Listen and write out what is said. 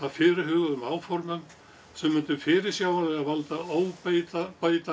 fyrirhuguðum áformum sem mundu fyrirsjáanlega valda óbætanlegum